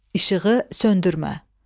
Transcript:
İşığı söndürmə.